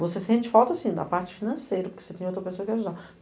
Você sente falta da parte financeira, porque você tem outra pessoa que ajudava.